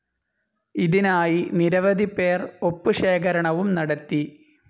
ഇതിനായി നിരവധി പേർ ഒപ്പ് ശേഖരണവും നടത്തി.